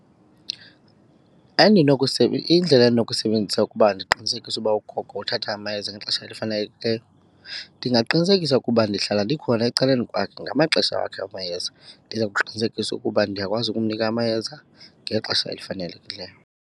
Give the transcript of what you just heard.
iindlela endinokuzisebenzisa ukuba ndiqinisekise ukuba ugogo uthatha amayeza ngexesha elifanelekileyo, ndingaqinisekisa ukuba ndihlala ndikhona ecaleni kwakhe ngamaxesha wakhe amayeza. Ndiza kuqinisekisa ukuba ndiyakwazi ukumnika amayeza ngexesha elifanelekileyo.